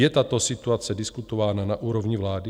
Je tato situace diskutována na úrovni vlády?